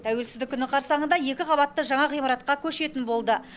тәуелсіздік күні қарсаңында екі қабатты жаңа ғимаратқа көшетін болды